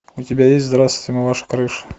у тебя есть здравствуйте мы ваша крыша